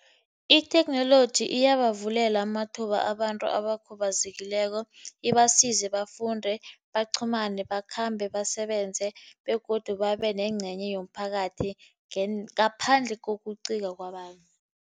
Itheknoloji iyabavulela amathuba abantu abakhubazekileko. Ibasize bafunde, baqhumane, bakhambe, basebenze, begodu babenencenye yomphakathi ngaphandle kokucika kwabantu.